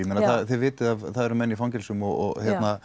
þið vitið að það eru menn í fangelsum og